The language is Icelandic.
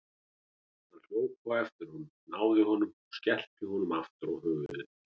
Hann hljóp á eftir honum, náði honum og skellti honum aftur á höfuðið.